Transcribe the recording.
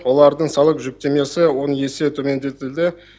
олардың салық жүктемесі он есе төмендетілді